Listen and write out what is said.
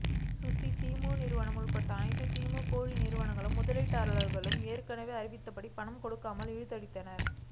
Susi emu நிறுவனம் உள்பட அனைத்து ஈமு கோழி நிறுவனங்களும் முதலீட்டாளர்களுக்கு ஏற்கனவே அறிவித்தபடி பணம் கொடுக்காமல் இழுத்தடித்தன